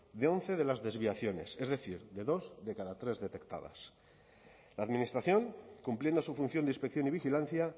de once de las desviaciones es decir de dos de cada tres detectadas la administración cumpliendo su función de inspección y vigilancia